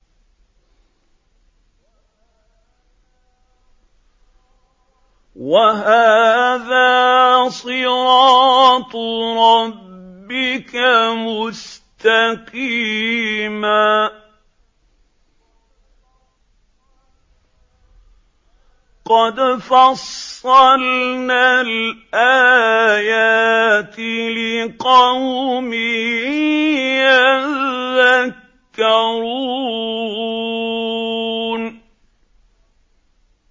وَهَٰذَا صِرَاطُ رَبِّكَ مُسْتَقِيمًا ۗ قَدْ فَصَّلْنَا الْآيَاتِ لِقَوْمٍ يَذَّكَّرُونَ